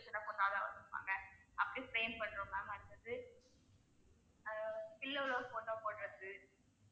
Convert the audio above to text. அப்படி frame பண்றோம் ma'am அடுத்தது ஆஹ் pillow ல photo போடுறது.